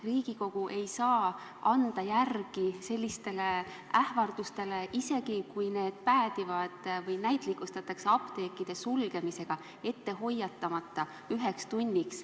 Riigikogu ei saa anda järele sellistele ähvardustele, isegi kui need näitlikustamiseks päädivad apteekide ette hoiatamata sulgemisega üheks tunniks.